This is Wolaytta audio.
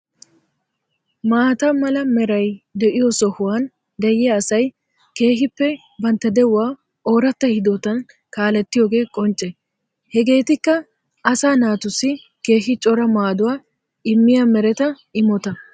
Maata mala meeray de'iyoo sohuwan de'yaa asay keehippe bantta de'uwa oratta hidootan kaalettiyooge qonche. hegetikka asa naatussi keehi coora maadduwaa immiya mereta immotta.